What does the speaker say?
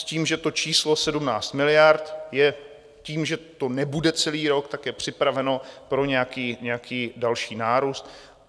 S tím, že to číslo 17 miliard je tím, že to nebude celý rok, tak je připraveno pro nějaký další nárůst.